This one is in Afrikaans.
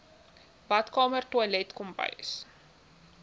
badkamer toilet kombuis